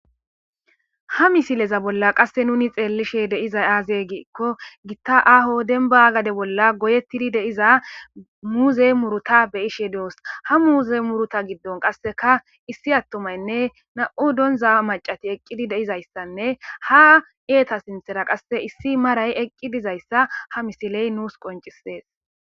ha misileza bolla qasse nuni xeellishe deizay aaze giikko gitta aho denba gade bolla goyettidi deiza muuze muruta beyishe doos ha muuze muruta giddon qasseka issi attomaynne na7u donza macati eqqidi deizayssanne ha eeta sinthera qasse issi maray eqqi dizayssa ha misiley nuus qoncisees